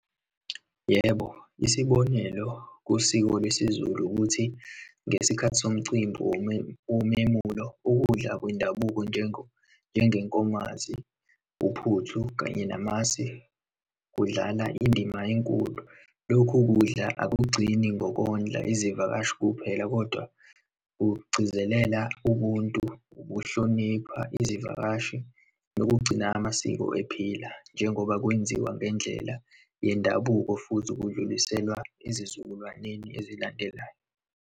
Yebo, isibonelo, kusiko lwesiZulu ukuthi ngesikhathi somcimbi womemulo, ukudla kwendabuko, njengenkomazi, uphuthu kanye namasi, kudlala indima enkulu. Lokhu kudla akugcini ngokondla izivakashi kuphela kodwa kugcizelela ubuntu, ukuhlonipha izivakashi, nokugcina amasiko ephila, njengoba kwenziwa ngendlela yendabuko futhi kudluliselwa ezizukulwaneni ezilandelayo.